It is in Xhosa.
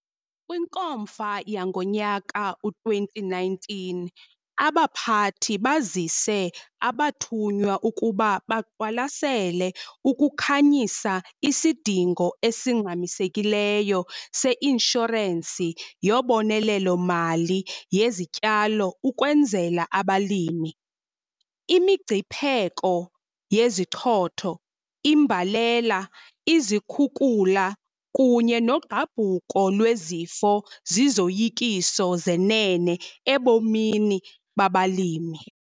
KwiNkomfa yango-2019 abaphathi bazise abathunywa ukuba baqwalasela ukukhanyisa isidingo esingxamisekileyo seinshorensi yobonelelo-mali yezityalo ukwenzela abalimi. Imingcipheko yezichotho, imbalela, izikhukula kunye nogqabhuko lwezifo zizoyikiso zenene ebomini babalimi.